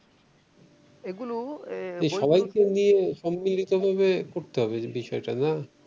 এগুলো সবাইকে নিয়ে সম্মলিত ভাবে করতে হবে বিষয়টা না